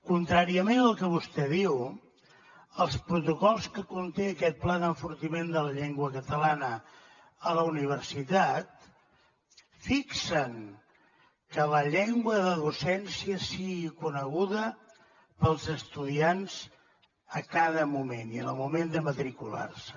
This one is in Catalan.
contràriament al que vostè diu els protocols que conté aquest pla d’enfortiment de la llengua catalana a la universitat fixen que la llengua de docència sigui coneguda pels estudiants a cada moment i en el moment de matricular se